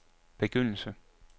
begyndelse